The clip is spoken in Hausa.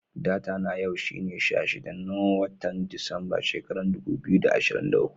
Data na yau shine sha shida, na wotan Disamba, shekaran dubu biyu da ashirin da uku.